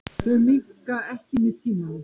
Þau minnka ekki með tímanum.